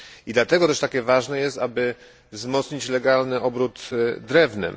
Dlatego też takie ważne jest, aby wzmocnić legalny obrót drewnem.